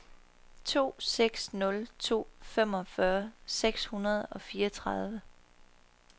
to seks nul to femogfyrre seks hundrede og fireogtredive